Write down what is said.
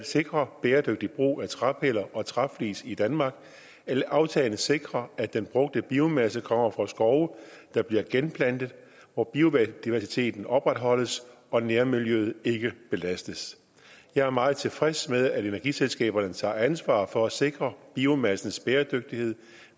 sikre bæredygtig brug af træpiller og træflis i danmark aftalen sikrer at den brugte biomasse kommer fra skove der bliver genplantet og hvor biodiversiteten opretholdes og nærmiljøet ikke belastes jeg er meget tilfreds med at energiselskaberne tager ansvar for at sikre biomassens bæredygtighed